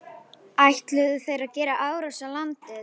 Ætluðu þeir að gera árás á landið?